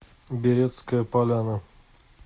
беретская поляна